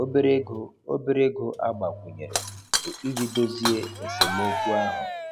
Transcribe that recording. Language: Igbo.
Obere ego Obere ego agbakwunyere bụ iji dozie esemokwu ahụ.